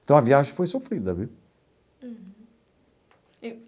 Então, a viagem foi sofrida, viu? Uhum.